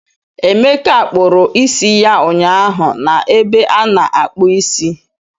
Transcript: Emeka kpụrụ isi ya ụnyaahụ na ebe a na-akpụ isi